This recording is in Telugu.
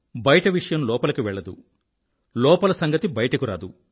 బయట విషయం లోపలికి వెళ్లదు లోపలి సంగతి బయటకు రాదు